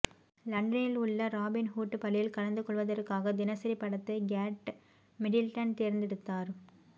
லண்டனில் உள்ள Robin Hood பள்ளியில் கலந்து கொள்வதற்காக தினசரி படத்தை கேட் மிடில்டன் தேர்ந்தெடுத்தார்